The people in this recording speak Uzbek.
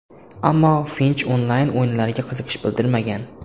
Ammo Finch onlayn-o‘yinlarga qiziqish bildirmagan.